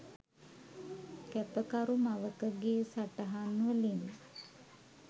කැපකරු මවකගේ සටහන් වලින්..